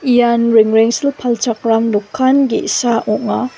ian rengrengsil palchakram dokan ge·sa ong·a.